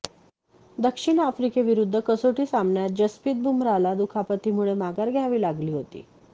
दक्षिण आफ्रिकेविरुद्ध कसोटी सामन्यात जस्पित बुमराला दुखापतीमुळे माघार घ्यावी लागली होती